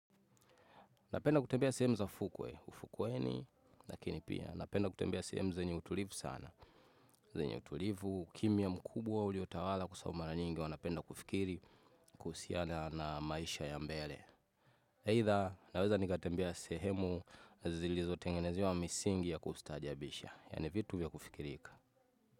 Napenda kutembea sehemu za fukwe, ufukweni, lakini pia napenda kutembea sehemu zenye utulivu sana. Zenye utulivu, kimya mkubwa uliotawala kwa sababu mara nyingi wanapenda kufikiri kuhusiana na maisha ya mbele. Aidha, naweza nikatembea sehemu zilizotengenezewa misingi ya kustaajabisha, yaani vitu vya kufikirika.